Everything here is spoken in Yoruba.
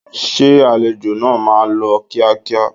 Ṣé àlejò náà máa lọ kíákíá?